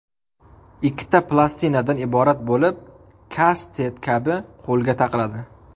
Ikkita plastinadan iborat bo‘lib, kastet kabi qo‘lga taqiladi.